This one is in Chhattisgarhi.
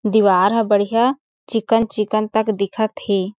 दिवार ह बढ़िया चिक्कन-चिक्कन तक दिखत हे।